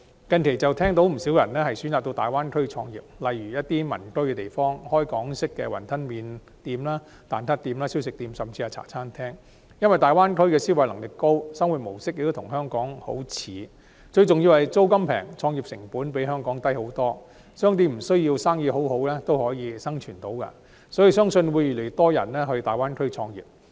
近期便聽到不少人選擇到大灣區創業，例如在民居附近開設港式雲吞麵店、蛋撻店、小食店，甚至茶餐廳，因為大灣區的消費能力高，生活模式亦與香港相近，最重要是租金便宜，創業成本比香港低得多，商店無須生意很好亦能生存，相信會有越來越多人到大灣區創業。